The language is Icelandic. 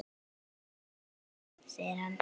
Jæja góða, segir hann.